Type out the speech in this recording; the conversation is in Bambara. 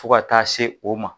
Fo ka taa se o ma